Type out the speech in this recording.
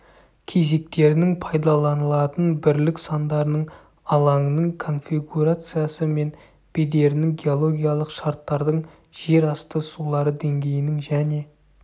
кезектерінің пайдаланылатын бірлік сандарының алаңның конфигурациясы мен бедерінің геологиялық шарттардың жер асты сулары деңгейінің және